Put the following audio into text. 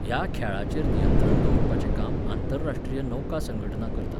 ह्या खेळाचेंर नियंत्रण दवरपाचें काम आंतरराश्ट्रीय नौका संघटना करता.